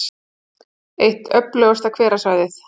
Eitt öflugasta hverasvæðið